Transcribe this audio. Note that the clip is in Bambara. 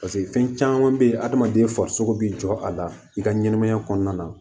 paseke fɛn caman be hadamaden farisoko bi jɔ a la i ka ɲɛnɛmaya kɔnɔna na